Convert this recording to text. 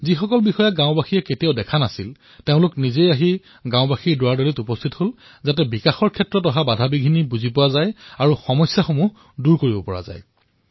যিসকল বিষয়াক গাঁওবাসীয়ে কেতিয়াও দেখা পোৱা নাছিল তেওঁলোকে স্বয়ং গাঁওবাসীৰ দুৱাৰমুখত উপস্থিত হৈছে যাতে বিকাশৰ কামত সৃষ্টি হোৱা বাধাৰ বিষয়ে তেওঁলোকে জানিবলৈ পাৰে সমস্যাসমূহ দূৰ কৰিব পাৰে